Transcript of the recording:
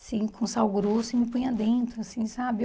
Assim, com sal grosso, e me punha dentro, assim, sabe?